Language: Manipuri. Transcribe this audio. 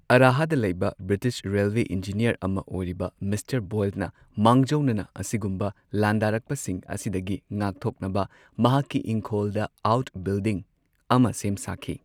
ꯑꯔꯥꯍꯗ ꯂꯩꯕ ꯕ꯭ꯔꯤꯇꯤꯁ ꯔꯦꯜꯋꯦ ꯏꯟꯖꯤꯅꯤꯌꯔ ꯑꯃ ꯑꯣꯏꯔꯤꯕ ꯃꯤꯁꯇꯔ ꯕꯣꯏꯜꯅ ꯃꯥꯡꯖꯧꯅꯅ ꯑꯁꯤꯒꯨꯝꯕ ꯂꯥꯟꯗꯥꯔꯛꯄꯁꯤꯡ ꯑꯁꯤꯗꯒꯤ ꯉꯥꯛꯊꯣꯛꯅꯕ ꯃꯍꯥꯛꯀꯤ ꯏꯪꯈꯣꯜꯗ ꯑꯥꯎꯠꯕꯤꯜꯗꯤꯡ ꯑꯃ ꯁꯦꯝ ꯁꯥꯈꯤ꯫